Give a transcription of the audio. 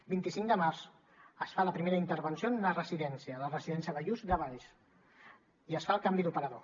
vint cinc de març es fa la primera intervenció en una residència la residència ballús de valls i es fa el canvi d’operador